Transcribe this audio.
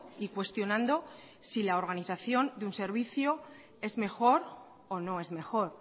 y cuestionando si la organización de un servicio es mejor o no es mejor